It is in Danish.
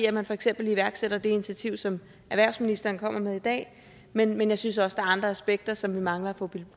at man for eksempel iværksætter det initiativ som erhvervsministeren kommer med i dag men jeg synes også der er andre aspekter som vi mangler at få